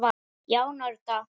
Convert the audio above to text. Já, nörda.